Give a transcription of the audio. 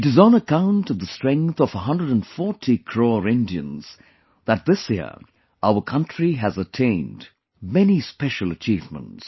It is on account of the strength of 140 crore Indians that this year, our country has attained many special achievements